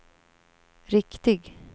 riktig